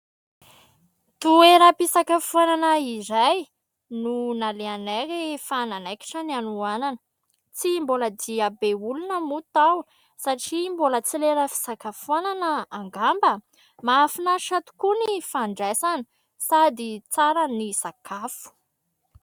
Toeram-pisakafoanana iray no nalehanay rehefa nanaikitra ny hanohanana. Tsy mbola dia be olona moa tao satria mbola tsy lera fisakafoanana angamba. Mahafinaritra tokoa ny fandraisana sady tsara ny sakafo.